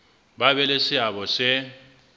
ba be le seabo se